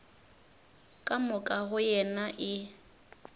ka moka go yena e